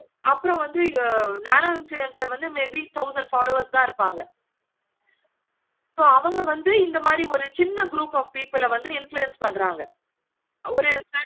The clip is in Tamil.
அப்பறம் வந்து nano influencer may be thousand followers தான் இருப்பாங்க. so அவங்க வந்து இந்த மாதிரி ஒரு சின்ன group of people ஆஹ் வந்து influence பண்ணுவாங்க. ஒரு